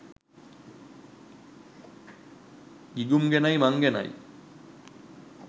ගිගුම් ගැනයි මං ගැනයි